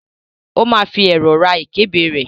ó ma fi ẹ̀rọ̀ ra ìkébè rẹ̀.